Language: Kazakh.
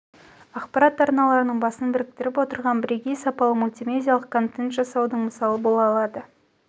ақпарат арналарының басын біріктіріп отырған бірегей сапалы мультимедиалық контент жасаудың мысалы бола алады